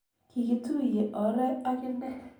kikituye ore ak inne.